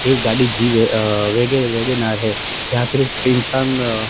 एक गाड़ी जिप है अ वेग वेगनार हैं यहां पे कई इंसान--